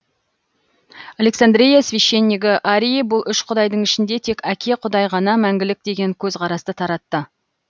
александрия священнигі арий бұл үш құдайдың ішінде тек әке құдай ғана мәңгілік деген көзқарасты таратты